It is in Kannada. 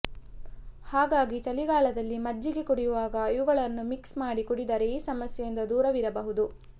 ಹಾಗಾಗಿ ಚಳಿಗಾಲದಲ್ಲಿ ಮಜ್ಜಿಗೆ ಕುಡಿಯುವಾಗ ಇವುಗಳನ್ನು ಮಿಕ್ಸ್ ಮಾಡಿ ಕುಡಿದರೆ ಈ ಸಮಸ್ಯೆಯಿಂದ ದೂರವಿರಬಹುದು